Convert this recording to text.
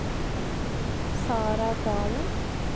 Sarah Dalen